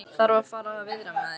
Þarf að fara að viðra mig aðeins.